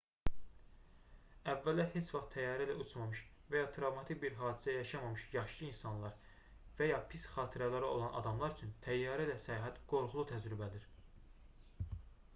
əvvəllər heç vaxt təyyarə ilə uçmamış və ya travmatik bir hadisə yaşamamış yaşlı insanlar və ya pis xatirələri olan adamlar üçün təyyarə ilə səyahət qorxulu təcrübədir